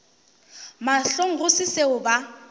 mahlong go se seo ba